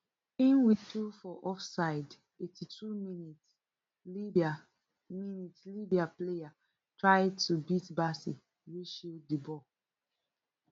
im whistle for offside eighty-two minis libya minis libya player try to beat bassey wey shield di ball